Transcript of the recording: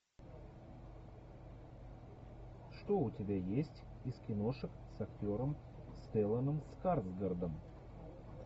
что у тебя есть из киношек с актером стелланом скарсгардом